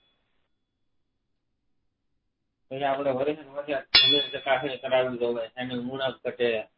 ખેડાવડો કરાવ્યો હોય અને જમીન ચકાસણી દેવાય એની ઉણપ ગટે